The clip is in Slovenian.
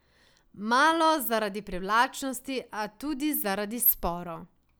Malo zaradi privlačnosti, a tudi zaradi sporov.